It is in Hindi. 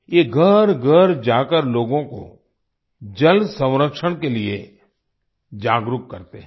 ये घरघर जाकर लोगों को जलसंरक्षण के लिए जागरूक करते हैं